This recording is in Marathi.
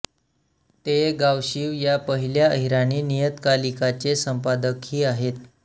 ते गावशीव या पहिल्या अहिराणी नियतकालिकाचे संपादकही आहेत